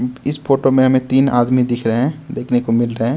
इस फोटो में हमें तीन आदमी दिख रहे हैं देखने को मिल रहे हैं।